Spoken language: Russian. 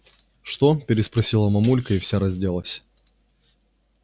что переспросила мамулька и вся разделась